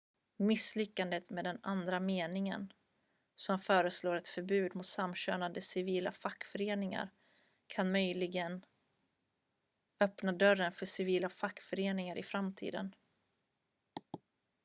misslyckandet med den andra meningen som föreslår ett förbud mot samkönade civila fackföreningar kan möjligen öppna dörren för civila fackföreningar i framtiden